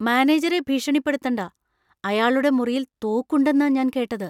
മാനേജറെ ഭീഷണിപ്പെടുത്തണ്ട . അയാളുടെ മുറിയിൽ തോക്കുണ്ടെന്നാ ഞാൻ കേട്ടത് .